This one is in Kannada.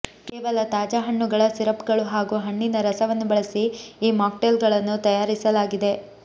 ಕೇವಲ ತಾಜಾಹಣ್ಣುಗಳ ಸಿರಪ್ಗಳು ಹಾಗೂ ಹಣ್ಣಿನ ರಸವನ್ನು ಬಳಸಿ ಈ ಮಾಕ್ಟೇಲ್ಗಳನ್ನು ತಯಾರಿಸಲಾಗಿದೆ